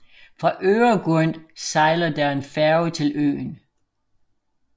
Fra Öregrund sejler der en færge til øen